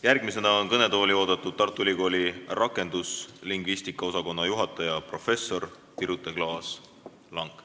Järgmisena on kõnetooli oodatud Tartu Ülikooli rakenduslingvistika osakonna juhataja professor Birute Klaas-Lang.